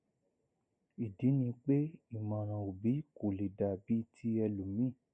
ìdí ni pé ìmọràn òbí kò lè dàbí tí ẹlòmíì